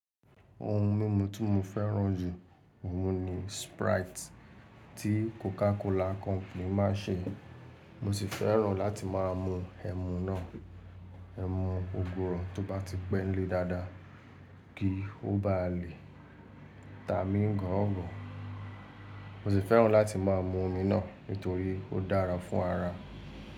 Ohun mímu tí mo fẹ́ràn jù ọ̀ùn ni Sprite tí CocaCola company má n ṣe. Mo si fẹ́ràn láti má a mu ẹmu náà, ẹmu ògurò tó bá ti pẹ́ńlé dáadáa kí o bá lè ta mi gọ̀ogọ̀. Mo si fẹ́ràn láti má a mu omi náà nítorí ó dára fún ara.